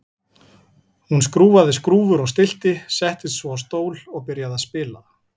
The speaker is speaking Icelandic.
Hún skrúfaði skrúfur og stillti, settist svo á stól og byrjaði að spila.